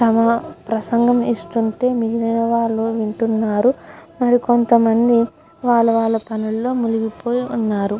తమ ప్రసంగం ఇస్తుంటే మిగిలిన వాళ్ళు వింటున్నారు మరి కొంత మంది వాళ్ళ వాళ్ళ పనుల్లో మునిగి పోయి వున్నారు.